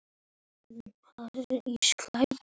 Hvert er þitt lið heima?